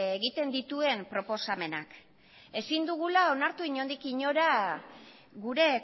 egiten dituen proposamenak ezin dugula onartu inondik inora gure